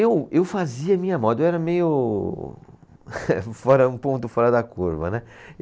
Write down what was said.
Eu, eu fazia minha moda, eu era meio fora, um ponto fora da curva, né?